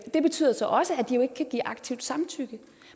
det betyder så også at de jo ikke kan give aktivt samtykke